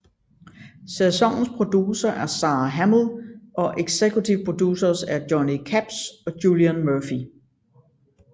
Sæsonens producer er Sara Hamill og executive producers er Johnny Capps og Julian Murphy